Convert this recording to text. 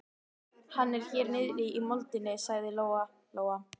Hann er hérna niðri í moldinni, sagði Lóa-Lóa.